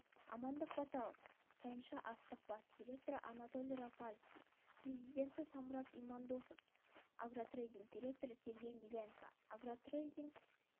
амандық баталов тайынша-астық бас директоры анатолий рафальский президенті самұрат имандосов агротрэйдинг директоры сергей миленко агротрэйдинг